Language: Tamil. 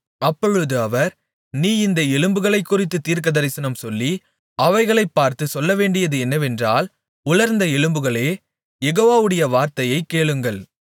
அப்பொழுது அவர் நீ இந்த எலும்புகளைக்குறித்துத் தீர்க்கதரிசனம் சொல்லி அவைகளைப் பார்த்துச் சொல்லவேண்டியது என்னவென்றால் உலர்ந்த எலும்புகளே யெகோவாவுடைய வார்த்தையைக் கேளுங்கள்